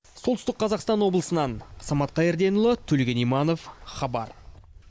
солтүстік қазақстан облысынан самат қайырденұлы төлеген иманов хабар